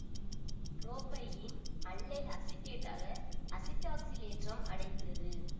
propylene allyl அசிட்டேட்டாக அசிட்டாக்சிலேற்றம் அடைகிறது